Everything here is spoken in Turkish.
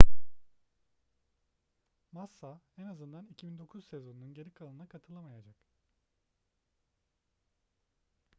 massa en azından 2009 sezonunun geri kalanına katılamayacak